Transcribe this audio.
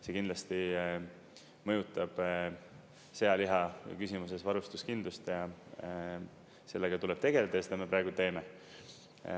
See kindlasti mõjutab sealiha küsimuses varustuskindlust ja sellega tuleb tegeleda ja seda me praegu teeme.